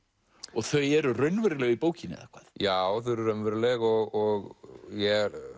og þau eru raunveruleg í bókinni eða hvað já þau eru raunveruleg og ég